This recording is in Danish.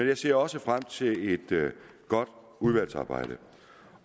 jeg ser også frem til et godt udvalgsarbejde